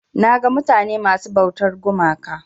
Naga mutane masu ɓautar gumaka.